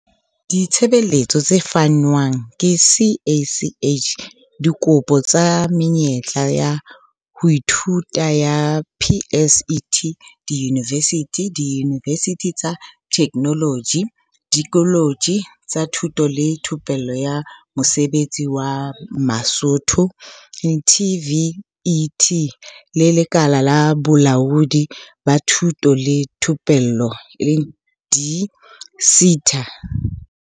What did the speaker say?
Ditshebeletso tse fanwang ke CACH Dikopo tsa menyetla ya ho ithuta ya PSET diyunivesithi, diyunivesithi tsa Theknoloji, dikoletje tsa Thuto le Thupello ya Mosebetsi wa Matsoho, TVET, le Lekala la Bolaodi ba Thuto le Thupello di-SETA.